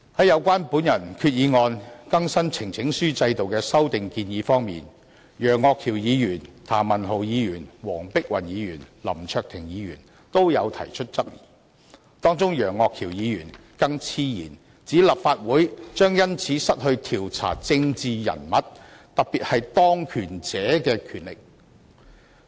有關我的擬議決議案中更新呈請書制度的修訂建議，楊岳橋議員、譚文豪議員、黃碧雲議員及林卓廷議員均提出質疑，當中楊岳橋議員更妄言立法會將因此失去調查政治人物，特別是當權者的權力。